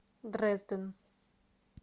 дрезден